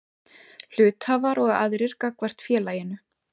Hluthafar og aðrir gagnvart félaginu.